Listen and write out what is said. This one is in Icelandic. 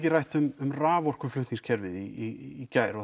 rætt um raforkuflutningskerfið í gær og